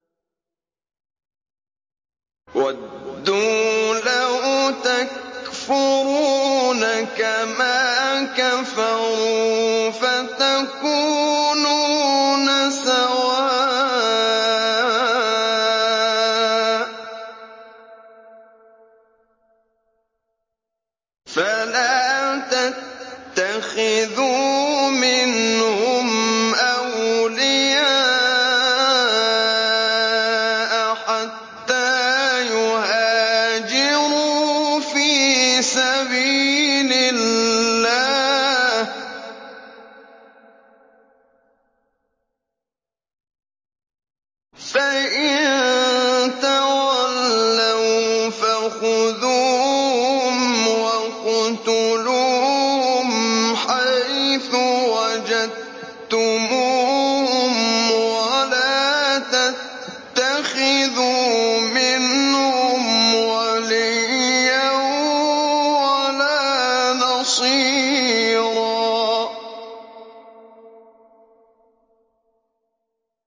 وَدُّوا لَوْ تَكْفُرُونَ كَمَا كَفَرُوا فَتَكُونُونَ سَوَاءً ۖ فَلَا تَتَّخِذُوا مِنْهُمْ أَوْلِيَاءَ حَتَّىٰ يُهَاجِرُوا فِي سَبِيلِ اللَّهِ ۚ فَإِن تَوَلَّوْا فَخُذُوهُمْ وَاقْتُلُوهُمْ حَيْثُ وَجَدتُّمُوهُمْ ۖ وَلَا تَتَّخِذُوا مِنْهُمْ وَلِيًّا وَلَا نَصِيرًا